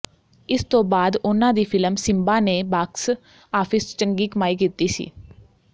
ਇਸ ਤੋਂ ਬਾਅਦ ਉਨ੍ਹਾਂ ਦੀ ਫਿਲਮ ਸਿੰਬਾ ਨੇ ਬਾਕਸ ਆਫਿਸ ਚੰਗੀ ਕਮਾਈ ਕੀਤੀ ਸੀ